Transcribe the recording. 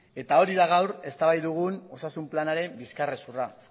eta hori da gaur eztabaidagai dugun osasun planaren bizkar hezurra